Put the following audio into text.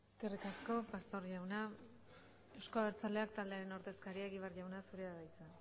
eskerrik asko pastor jauna euzko abertzaleak taldearen ordezkaria egibar jauna zurea da hitza